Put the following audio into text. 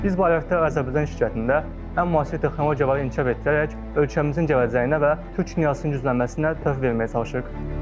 Biz Bayraqlar Azərbaycan şirkətində ən müasir texnologiyalar inkişaf etdirərək ölkəmizin gələcəyinə və Türk dünyasının güclənməsinə töhfə verməyə çalışırıq.